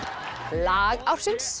lag ársins